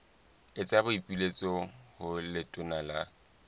etsa boipiletso ho letona la